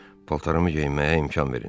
Paltarımı geyinməyə imkan verin.